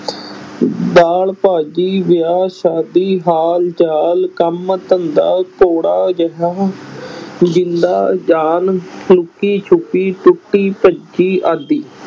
ਦਾਲ ਭਾਜੀ, ਵਿਆਹ ਸ਼ਾਦੀ, ਹਾਲ ਚਾਲ, ਕੰਮ ਧੰਦਾ, ਕੌੜਾ ਜ਼ਹਿਰ ਜਿੰਦ ਜਾਨ, ਲੁਕੀ ਛੁਪੀ, ਟੁੱਟੀ ਭੱਜੀ ਆਦਿ।